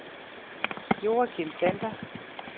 Joachim Sander